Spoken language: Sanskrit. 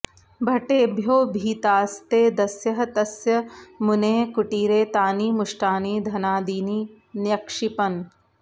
भटेभ्यो भीतास्ते दस्यः तस्य मुनेः कुटीरे तानि मुष्टानि धनादीनि न्यक्षिपन्